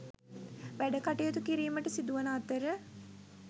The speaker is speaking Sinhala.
වැඩකටයුතු කිරීමට සිදුවන අතර